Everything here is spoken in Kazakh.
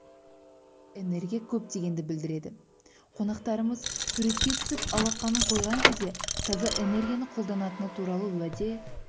энергия көп дегенді білдіреді қонақтарымыз суретке түсіп алақанын қойған кезде таза энергияны қолданатыны туралы уәде